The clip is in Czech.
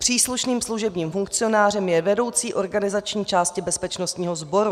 Příslušným služebním funkcionářem je vedoucí organizační části bezpečnostního sboru.